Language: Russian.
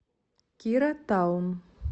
кира таун